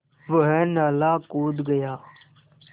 वह नाला कूद गया